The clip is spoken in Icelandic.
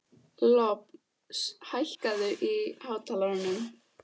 Lofn, hækkaðu í hátalaranum.